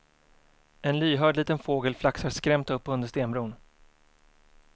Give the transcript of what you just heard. En lyhörd liten fågel flaxar skrämt upp under stenbron.